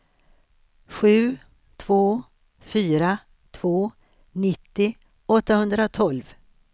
sju två fyra två nittio åttahundratolv